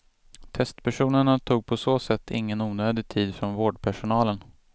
Testpersonerna tog på så sätt ingen onödig tid från vårdpersonalen.